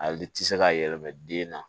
A liti se ka yɛlɛma den na